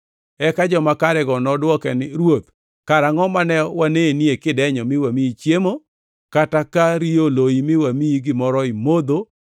“Eka joma karego nodwoke ni, ‘Ruoth, karangʼo mane wanenie kidenyo mi wamiyi chiemo, kata ka riyo oloyi, mi wamiyi gimoro imodho?